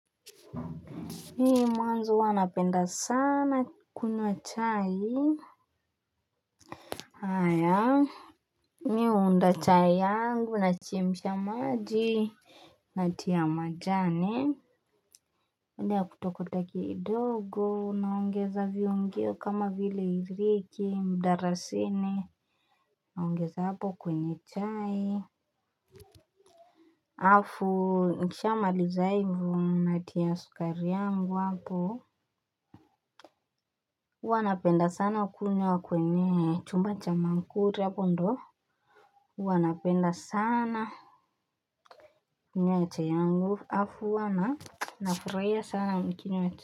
Mwanzo huwa napenda sana kunywa chai. Haya mi huunda chai yangu nachemsha maji natia majani baada ya muda kidogo naongeza viungo kama vile iliki mdalasini naongeza hapo kwenye chai. Afu nikishamaliza hivo natia sukari yangu hapo huwa napenda sana kunywa kwenye chumba cha maamkuli hapo ndio huwa napenda sana kunywa chai yangu afu huwa na nafuraia sana nikinywa chai.